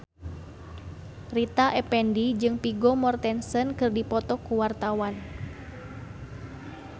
Rita Effendy jeung Vigo Mortensen keur dipoto ku wartawan